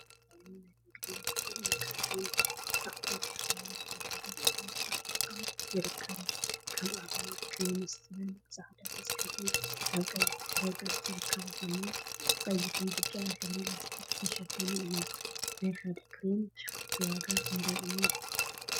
ዝተፈላዩ ናይ ንግድን ምትዕድዳግን አቁሑት አብ መደርደሪ ቦታ ተቀሚጦም ይርከቡ፡፡ ከም አብነት ክሬምስ ዝበል ብፃዕዳ ተፃሒፉ አብ ቀይሕ ድሕረ ገፅ ዝርከቡ ኮይኖም፤ ብቀይሕን ብጫን ሕብሪ ላስቲክ ዝተሸፈኑ እዮም፡፡ ናይ ሓደ ክሬም ብስሽኩቲ ዋጋ ክንደይ እዩ?